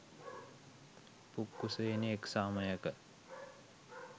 පුක්කුසයෙනි එක් සමයක